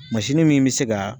Mansini min me se ka